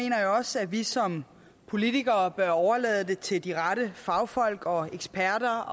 jeg også at vi som politikere bør overlade det til de rette fagfolk og eksperter